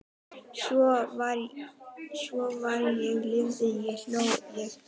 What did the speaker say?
Svo var ég lifði ég hló ég dó